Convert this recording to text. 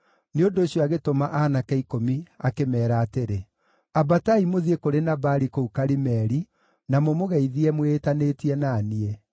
Nĩ ũndũ ũcio agĩtũma aanake ikũmi akĩmeera atĩrĩ, “Ambatai mũthiĩ kũrĩ Nabali kũu Karimeli na mũmũgeithie mwĩĩtanĩtie na niĩ.